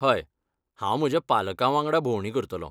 हय, हांव म्हज्या पालकां वांगडा भोंवडी करतलों.